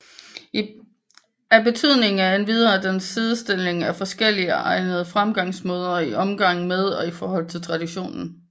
Af betydning er endvidere den sidestilling af forskelligartede fremgangsmåder i omgang med og i forhold til traditionen